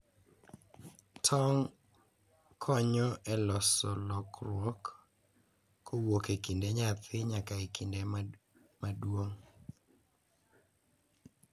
Tong' konyo e loso lokruok kowuok e kinde nyathi nyaka e kinde maduong’